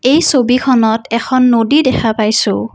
এই ছবিখনত এখন নদী দেখা পাইছোঁ।